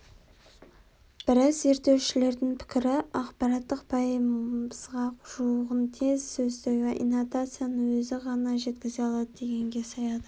біраз зерттеушілердің пікірі ақпараттың пайызға жуығын тек сөздегі интонацияның өзі ғана жеткізе алады дегенге саяды